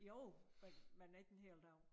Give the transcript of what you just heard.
Jo men men ikke en hel dag